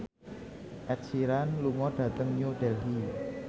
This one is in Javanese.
Ed Sheeran lunga dhateng New Delhi